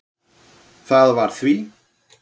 Það var því